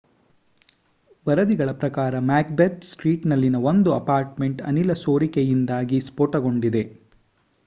ವರದಿಗಳ ಪ್ರಕಾರ ಮ್ಯಾಕ್‌ಬೆತ್‌ ಸ್ಟ್ರೀಟ್‌ನಲ್ಲಿನ ಒಂದು ಅಪಾರ್ಟ್‌ಮೆಂಟ್‌ ಅನಿಲ ಸೋರಿಕೆಯಿಂದಾಗಿ ಸ್ಫೋಟಗೊಂಡಿದೆ